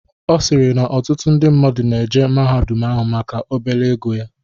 Ọsirii na ọtụtụ ndi mmadụ na-eje mahadum ahụ maka obele ego ya.